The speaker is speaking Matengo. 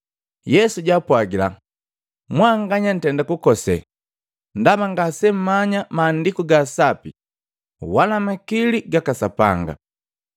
Yesu jaapwagila, “Mwanganya nkose, ndaba ngasemgamanya Maandiku ga Sapi wala makili gaka Sapanga.